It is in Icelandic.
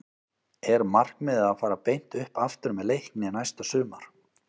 Er markmiðið að fara beint upp aftur með Leikni næsta sumar?